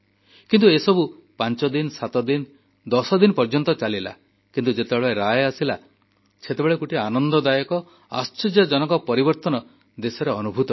କିନ୍ତୁ ଏସବୁ ପାଞ୍ଚଦିନ ସାତଦିନ ଦଶଦିନ ପର୍ଯ୍ୟନ୍ତ ଚାଲିଲା କିନ୍ତୁ ଯେତେବେଳେ ରାୟ ଆସିଲା ସେତେବେଳେ ଗୋଟିଏ ଆନନ୍ଦଦାୟକ ଆଶ୍ଚର୍ଯ୍ୟଜନକ ପରିବର୍ତ୍ତନ ଦେଶରେ ଅନୁଭୂତ ହେଲା